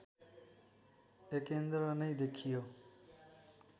एकेन्द्र नै देखियो